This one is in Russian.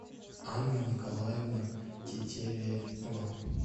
анна николаевна тетерева